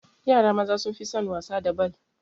Yara maza sun fi son wasa da bal